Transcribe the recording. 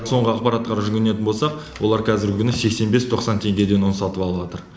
соңғы ақпаратқа жүгінетін болсақ олар қазіргі күні сексен бес тоқсан теңгеге ұн сатып алып отыр